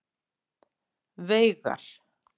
Veigar